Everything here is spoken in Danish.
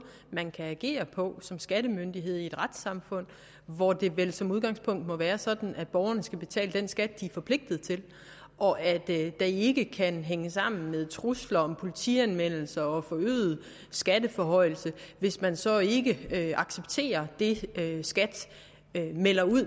man kan agere på som skattemyndighed i et retssamfund hvor det vel som udgangspunkt må være sådan at borgerne skal betale den skat de er forpligtet til og at det ikke kan hænge sammen med trusler om politianmeldelser og skatteforhøjelse hvis man så ikke accepterer det skat melder ud